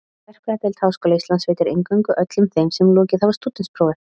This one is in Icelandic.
Verkfræðideild Háskóla Íslands veitir inngöngu öllum þeim sem lokið hafa stúdentsprófi.